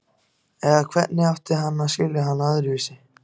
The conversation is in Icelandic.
Eða hvernig átti hann að skilja hana öðruvísi?